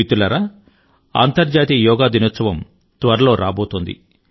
మిత్రులారా అంతర్జాతీయ యోగా దినోత్సవం త్వరలో రాబోతోంది